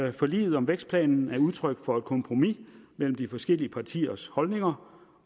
at forliget om vækstplanen er udtryk for et kompromis mellem de forskellige partiers holdninger